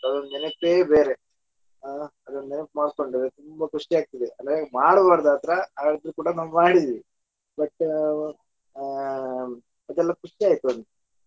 ಅದೊಂದ್ ನೆನಪೆ ಬೇರೆ ಅದನ್ನ ನೆನಪ್ ಮಾಡ್ಕೊಂಡ್ರೆ ತುಂಬಾ ಖುಷಿ ಆಗ್ತದೆ ಅಲ್ಲಾ ಹೀಗೆ ಮಾಡಬಾರದು ಆತರಾ ಆದ್ರೂ ಕೂಡಾ ನಾವ್ ಮಾಡಿದಿವಿ but ಆಹ್ ಇದೆಲ್ಲ ಖುಷಿ ಆಗ್ತದೆ .